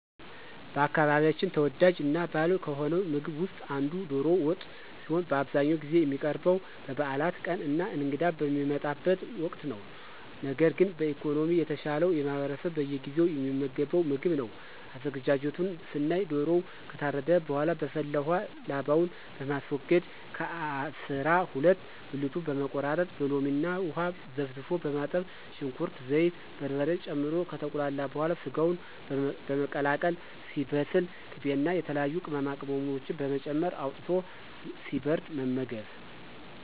በአካባቢያችን ተወዳጅ እና ባህላዊ ከሆነው ምግብ ውስጥ አንዱ ዶሮ ወጥ ሲሆን በአብዛኛውን ጊዜ የሚቀርበው በበዓላት ቀን እና እንግዳ በሚመጣበት ወቅት ነው። ነገር ግን በኢኮኖሚ የተሻለው ማህበረሰብ በየጊዜው የሚመገበው ምግብ ነው። አዘገጃጀቱን ስናይ ዶሮው ከታረደ በኃላ በፈላ ውሃ ላባውን በማስወገድ ከ አሰራ ሁለት ብልቱን በመቆራረጥ በሎሚ እና ውሃ ዘፍዝፎ በማጠብ ሽንኩርት፣ ዘይት፣ በርበሬ ጨምሮ ከተቁላላ በኃላ ሰጋውን በመቀላቀል ሲበስል ቅቤ እና የተለያዩ ቅመማቅመሞችን በመጨመር አውጥቶ ሲበርድ መመገብ።